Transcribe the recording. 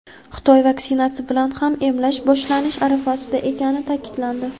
Xitoy vaksinasi bilan ham emlash boshlanish arafasida ekani ta’kidlandi.